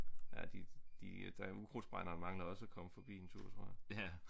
Ja de de øh ukrudtsbrænderen mangler også at komme forbi en tur tror jeg